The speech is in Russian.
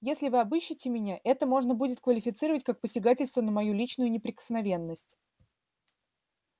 если вы обыщите меня это можно будет квалифицировать как посягательство на мою личную неприкосновенность